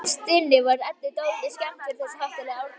Innst inni var Eddu dálítið skemmt yfir þessu háttalagi Árnýjar.